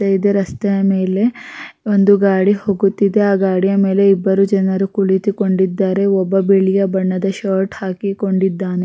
ರಸ್ತೆ ಇದೆ ರಸ್ತೆಯ ಮೇಲೆ ಒಂದು ಗಾಡಿ ಹೋಗುತ್ತಿದೆ ಗಾಡಿಯ ಮೇಲೆ ಇಬ್ಬರು ಜನರು ಕುಳಿತುಕೊಂಡಿದ್ದಾರೆ ಒಬ್ಬ ಬಿಳಿಯ ಬಣ್ಣದ ಶರ್ಟ್ ಹಾಕಿಕೊಂಡಿದ್ದಾನೆ.